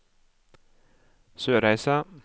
Sørreisa